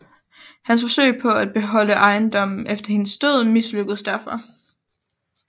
Hans forsøg på at beholde ejendommen efter hendes død mislykkedes derfor